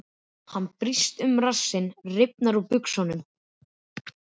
Hann brýst um og rassinn rifnar úr buxunum.